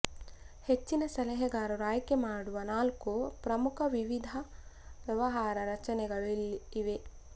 ಹೆಚ್ಚಿನ ಸಲಹೆಗಾರರು ಆಯ್ಕೆಮಾಡುವ ನಾಲ್ಕು ಪ್ರಮುಖ ವಿಧದ ವ್ಯವಹಾರ ರಚನೆಗಳು ಇವೆ